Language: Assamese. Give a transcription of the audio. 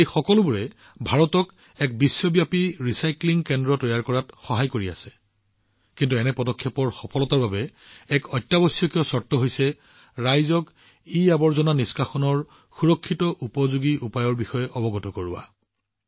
এই সকলোবোৰে ভাৰতক এক গোলকীয় ৰিচাইক্লিং হাব তৈয়াৰ কৰাত সহায় কৰিছে কিন্তু এনে পদক্ষেপবোৰৰ সফলতাৰ বাবে এক অত্যাৱশ্যকীয় চৰ্তও আছে অৰ্থাৎ ইআৱৰ্জনা নিষ্কাশনৰ সুৰক্ষিত উপযোগী পদ্ধতিৰ বিষয়ে লোকসকলক সজাগ কৰিব লাগিব